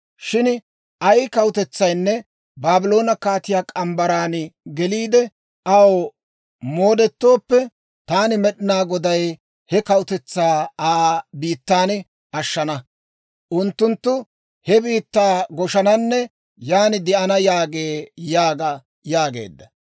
Shin ay kawutetsaynne Baabloone kaatiyaa morgge mitsaan geliide, aw moodetooppe, taani Med'inaa Goday he kawutetsaa Aa biittan ashshana; unttunttu he biittaa goshananne yaan de'ana» yaagee› yaaga» yaageedda.